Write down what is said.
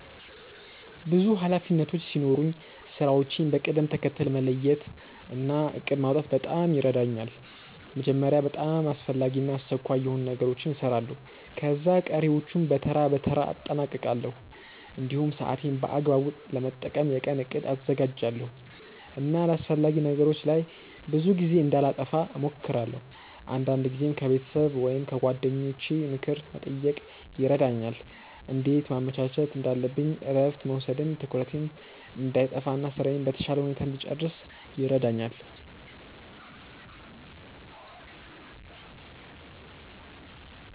ብዙ ኃላፊነቶች ሲኖሩኝ ስራዎቼን በቅደም ተከተል መለየት እና እቅድ ማውጣት በጣም ይረዳኛል። መጀመሪያ በጣም አስፈላጊ እና አስቸኳይ የሆኑ ነገሮችን እሰራለሁ፣ ከዚያ ቀሪዎቹን በተራ በተራ አጠናቅቃለሁ። እንዲሁም ሰዓቴን በአግባቡ ለመጠቀም የቀን እቅድ አዘጋጃለሁ እና አላስፈላጊ ነገሮች ላይ ብዙ ጊዜ እንዳላጠፋ እሞክራለሁ። አንዳንድ ጊዜም ከቤተሰብ ወይም ከጓደኞቼ ምክር መጠየቅ ይረዳኛል እንዴት ማመቻቸት እንዳለብኝ እረፍት መውሰድም ትኩረቴን እንዳይጠፋ እና ስራዬን በተሻለ ሁኔታ እንድጨርስ ይረዳኛል።